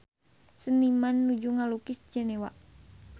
Seniman nuju ngalukis Jenewa